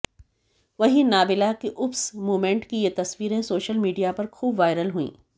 वहीं नाबिला के oops moment की ये तस्वीरें सोशल मीडिया पर खूब वायरल हुईं